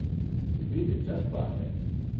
کتنی دلچسپ بات ہے!